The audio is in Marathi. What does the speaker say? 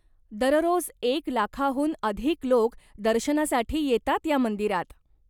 दररोज एक लाखाहून अधिक लोक दर्शनासाठी येतात या मंदिरात.